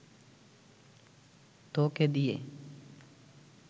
তোকে দিয়ে